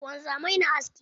Wanzamai na aski.